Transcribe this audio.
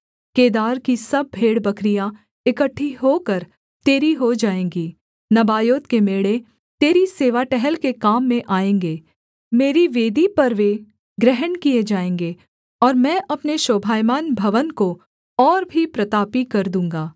केदार की सब भेड़बकरियाँ इकट्ठी होकर तेरी हो जाएँगी नबायोत के मेढ़े तेरी सेवा टहल के काम में आएँगे मेरी वेदी पर वे ग्रहण किए जाएँगे और मैं अपने शोभायमान भवन को और भी प्रतापी कर दूँगा